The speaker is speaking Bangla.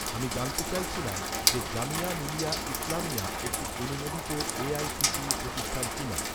আমি জানতে চাইছিলাম যে, জামিয়া মিলিয়া ইসলামিয়া, একটি অনুমোদিত এ.আই.সি.টি.ই প্রতিষ্ঠান কিনা?